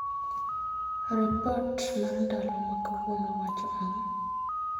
Ripot mar ndalo ma kawuono wacho ang'o?